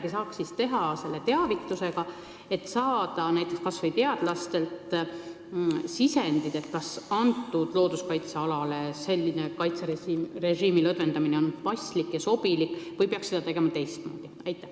Kas saaks midagi teha teavitusega, selleks et saada näiteks kas või teadlastelt sisendit, kas selline kaitserežiimi lõdvendamine on sellele looduskaitsealale paslik ja sobilik või peaks seda tegema teistmoodi?